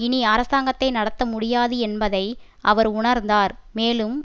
இனி அரசாங்கத்தை நடத்த முடியாது என்பதை அவர் உணர்ந்தார் மேலும்